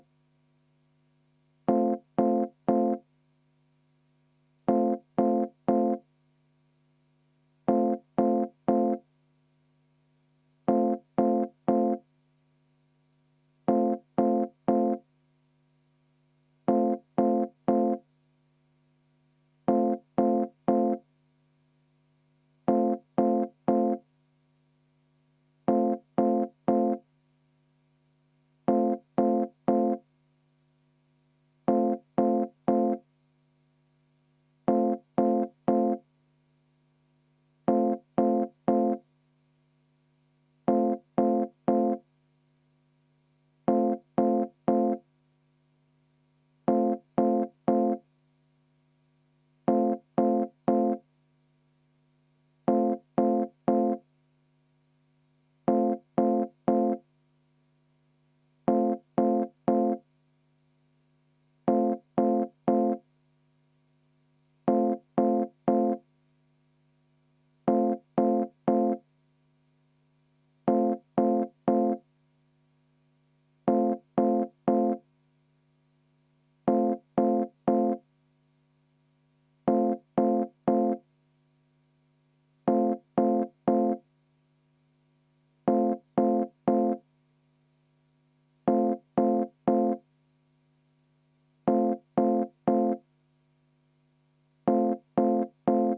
V a h e a e g